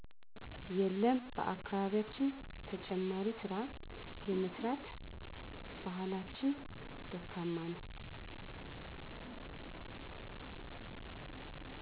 የለም በአካባቢያችን ተጨማሪ ስራ የመስራት ባህላችን ደካማ ነው